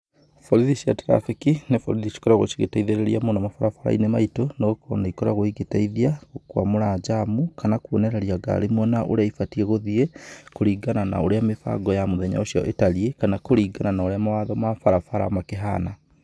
Borithi cia traffic, nĩ borithi ikoragwo cigĩteithirĩria mũno, mabarabara-inĩ maitũ, nĩ gũkorwo ni ikoragwo igĩteithĩrĩria gũkũmwamũra njamũ, kana kuonereria ngari mwena ũria ibatiĩ gũthiĩ, kuringana na ũrĩa mĩbango ya mũthenya ũcio ĩtariĩ, kana kũringana na ũrĩa mawatho ma barabara makĩhana.